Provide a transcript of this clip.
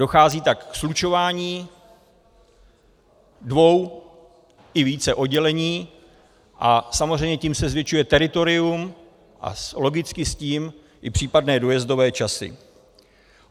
Dochází tak ke slučování dvou i více oddělení a samozřejmě tím se zvětšuje teritorium a logicky s tím i případné dojezdové časy.